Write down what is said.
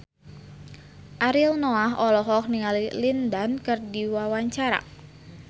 Ariel Noah olohok ningali Lin Dan keur diwawancara